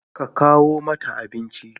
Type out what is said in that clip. Ka kawo mata abinci.